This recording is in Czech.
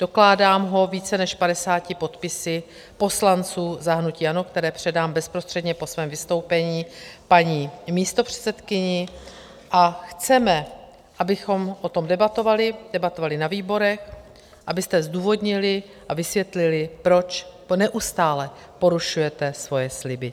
Dokládám ho více než 50 podpisy poslanců za hnutí ANO , které předám bezprostředně po svém vystoupení paní místopředsedkyni, a chceme, abychom o tom debatovali, debatovali na výborech, abyste zdůvodnili a vysvětlili, proč neustále porušujete svoje sliby.